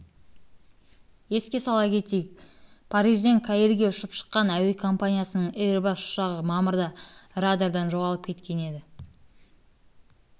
еске сала кетейік парижден каирге ұшып шыққан әуе компаниясының эйрбас ұшағы мамырда радардан жоғалып кеткен еді